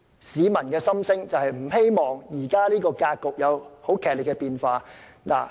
市民並不希望這種格局出現劇烈變化。